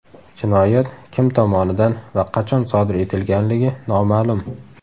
Jinoyat kim tomonidan va qachon sodir etilganligi noma’lum.